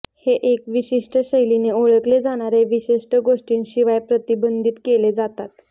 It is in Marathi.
हे एक विशिष्ट शैलीने ओळखले जाणारे विशिष्ट गोष्टींशिवाय प्रतिबंधित केले जातात